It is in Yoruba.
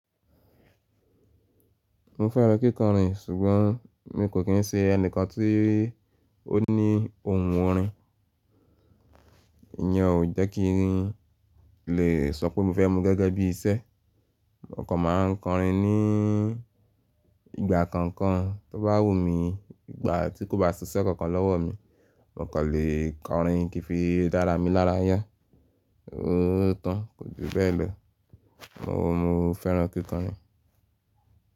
Mo fẹ́ràn kíkọrin ṣùgbọ́n mi kò kí ń ṣe ẹnìkan tí ó ní ohun orin. Ìyẹn ò jẹ́ kí n rin lè sọ pé mo fẹ́ mú gẹ́gẹ́ bí iṣẹ́. Mo kàn máa ń kọrin ní ìgbà kankan tó bá wù mí. Ìgbà tí kò bá ṣiṣẹ́ kankan lọ́wọ́ mi, mo kàn lè kọrin kí fi dára mi lára yá. Oo tán, kò ju bẹ́ẹ̀ lọ. Mo, mo fẹ́ràn kíkọrin.